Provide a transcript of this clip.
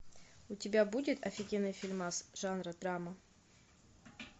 у тебя будет офигенный фильмас жанра драма